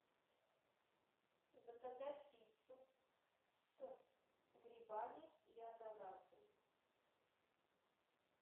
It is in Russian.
заказать пиццу с грибами и ананасом